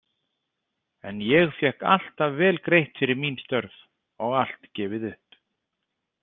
En ég fékk alltaf vel greitt fyrir mín störf og allt gefið upp.